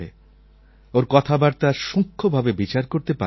ওর কথাবার্তা সূক্ষ্মভাবে বিচার করতে পারিনি